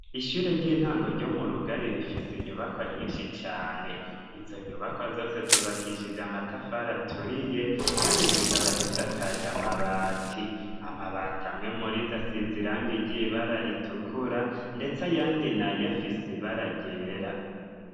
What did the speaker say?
ishure ry'intango ryo murugari rifise inyubakwa nyinshi cane izo nyubakwa zose zubakishije amatafari aturiye kandi zikaba zisakaje amabati ,amabati amwe muri zo asize irangi ry'ibara ritukura ndetse ayandi nayo afise ibara ryera